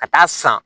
Ka taa san